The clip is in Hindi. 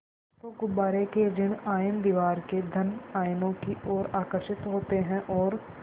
तो गुब्बारे के ॠण आयन दीवार के धन आयनों की ओर आकर्षित होते हैं और